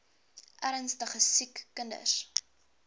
ernstige siek kinders